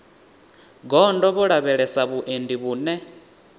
gondo vho lavhelesa vhuendi vhune